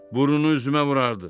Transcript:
Burnunu üzümə vurardı.